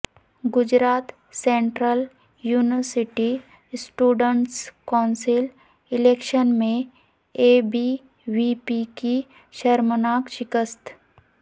Gujarat central university students council election میں A B V P کی شرمناک شکست